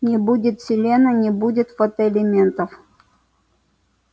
не будет селена не будет фотоэлементов